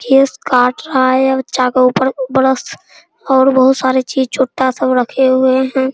Case काट रहा है अ बच्चा का ऊपर बरस और बहुत सारे चीज़ चुट्टा सब रखे हुए हैं।